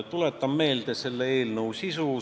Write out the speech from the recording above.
Tuletan meelde selle eelnõu sisu.